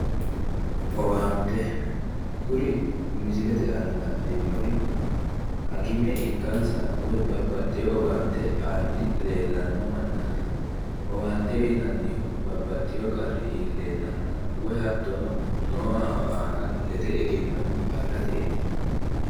Owante, kuri misilete aana la'neemmori hakime ikkansa woy babbaxxeeyo owaante aanni leellanno mannaati. Owaante uyinannihu babbaxxeeyo qarri iilleennanna woyi hattono noohu aana lede egenno afirateeti.